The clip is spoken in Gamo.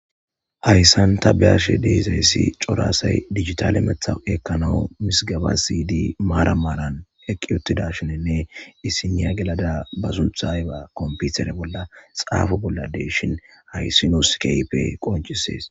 Hayssan ta beashe deezayssi coraasay digitale methawupi ekkanawu misigaba siydi maara maran eqqi ottida shininne issiniya gelada ba suntha yba komputere bolla xaafu bollade shin haysinoskeype qoncisees.